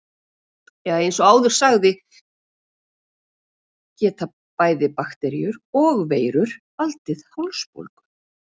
Eins og áður sagði geta bæði bakteríur og veirur valdið hálsbólgu.